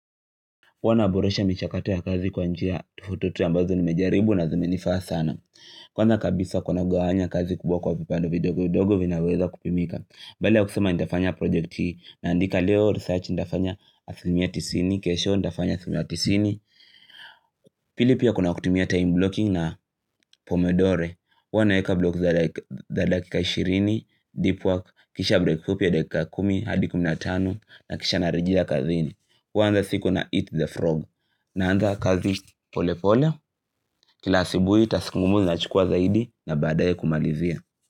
huWana boresha michakato ya kazi kwa njia tofauti ambazo nimejaribu na zime nifaa sana Kwanza kabisa kwa naugawanya kazi kubwa kwa vipande vidogo vidogo vinaweza kupimika Badala ya kusema nitafanya project hii naandika leo research nitafanya asilimia tisini kesho nitafanya asimia tisini Pili pia kuna kutumia time blocking na pomedore huWa naeka block za dakika 20, deep work, kisha break fupi ya dakika 10, hadi kuminatano na kisha narejea kazini huanza siku na eat the frog na anza kazi polepole, kila asubuhi task ngumu zinachukuwa zaidi na baadaye kumalizia.